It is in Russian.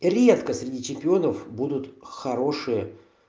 редко среди чемпионов будут хорошие